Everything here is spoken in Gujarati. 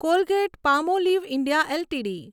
Colgate Palmolive India LTD